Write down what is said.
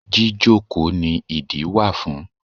Jíjókòó ni ìdí wà fún.